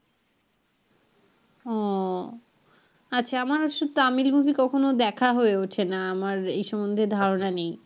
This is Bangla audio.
ও আমার আসলে তামিল movie কখনো দেখা হয়ে ওঠেনা আমার এই সম্বন্ধে ধারনা নেই